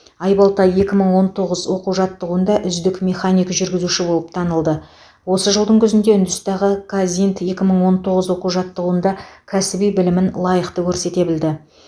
айбалта екі мың он тоғыз оқу жаттығуында үздік механик жүргізуші болып танылды осы жылдың күзінде үндістандағы қазинд екі мың он тоғыз оқу жаттығуында кәсіби білімін лайықты көрсете білді